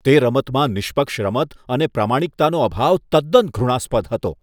તે રમતમાં નિષ્પક્ષ રમત અને પ્રામાણિકતાનો અભાવ તદ્દન ઘૃણાસ્પદ હતો.